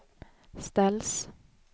ställs